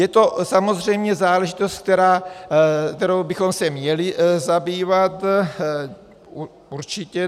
Je to samozřejmě záležitost, kterou bychom se měli zabývat, určitě.